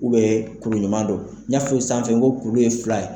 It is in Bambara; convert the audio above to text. kuru ɲuman don , n y'a fɔ sanfɛ ko kuru ye fila ye.